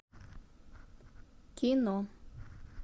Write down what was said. кино